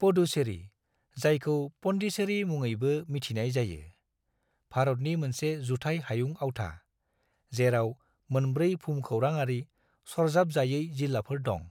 पुडुचेरी, जायखौ पन्डिचेरी मुङैबो मिथिनाय जायो, भारतनि मोनसे जुथाइ हायुं आवथा, जेराव मोनब्रै भुमखौरांआरि सरजाबजायै जिल्लाफोर दं।